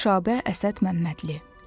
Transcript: Nüşabə Əsəd Məmmədli.